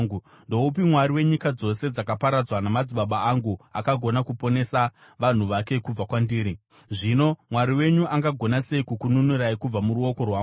Ndoupi mwari wenyika dzose dzakaparadzwa namadzibaba angu akagona kuponesa vanhu vake kubva kwandiri? Zvino mwari wenyu angagona sei kukununurai kubva muruoko rwangu?